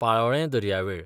पालोलें दर्यावेळ